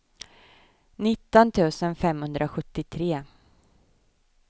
nitton tusen femhundrasjuttiotre